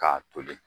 K'a toli